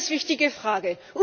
Eine ganz wichtige Frage!